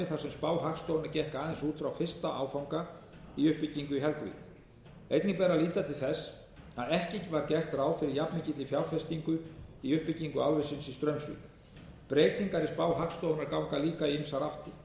sem spá hagstofunnar gekk aðeins út frá fyrsta áfanga í uppbyggingu í helguvík einnig ber að líta til þess að ekki var gert ráð fyrir jafnmikilli fjárfestingu í uppbyggingu álversins í straumsvík breytingar í spá hagstofunnar ganga líka í ýmsar áttir